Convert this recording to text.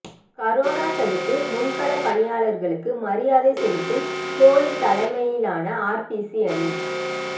corona தடுப்பு முன்களப் பணியாளா்களுக்கு மரியாதை செலுத்தும் கோலி தலைமையிலான ஆர்சிபி அணி